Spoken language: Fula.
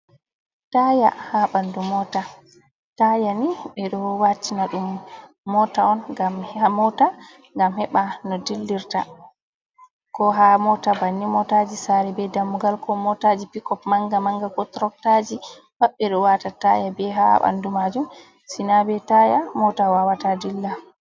Taya ha ɓanɗu mota, taya ni ɓe ɗo watina ɗum mota on ngam ha mota ngam heɓa no dillirta, ko ha mota banni motaji sare be dammugal, ko motaji picop manga manga, ko trotaji pat ɓe ɗo wata taya be ha ɓanɗu majum sina be taya mota wawata dilla.